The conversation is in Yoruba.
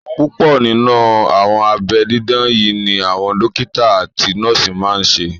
Púpọ̀ nínú àwọn abẹ́ dídá yí ni àwọn dókítà àti nọ́ọ̀sì máa n ṣe